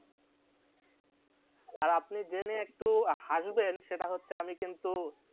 আর আপনি জেনে একটু হাসবেন সেটা হচ্ছে আমি কিন্তু